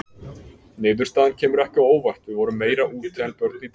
Niðurstaðan kemur ekki á óvart: við vorum meira úti en börn í dag.